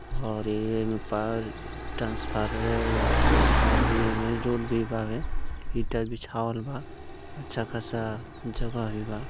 हरे एमे पाल हरे एमए रोड भी बा रे ईटा बिछावल बा अच्छा खासा जगह भी बा --